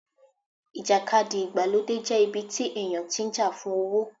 ìjàkadì ìgbàlódé jẹ́ ibi tí èèyàn tí ń jà fún owó